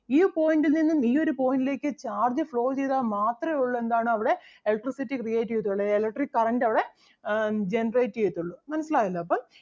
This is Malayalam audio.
ഈ point ൽ നിന്നും ഈ ഒരു point ലേക്ക് charge flow ചെയ്താൽ മാത്രേ ഒള്ളു എന്താണ് അവിടെ electricity create ചെയ്യത്തൊള്ളൂ electric current അവിടെ generate ചെയ്യത്തൊള്ളൂ മനസ്സിലായല്ലോ അപ്പം